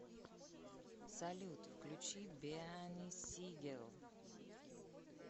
салют включи беани сигел